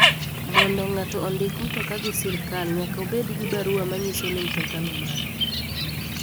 Mondo ngato ondik mtoka gi sirkal nyaka obed gi barua manyiso ni mtoka no mare.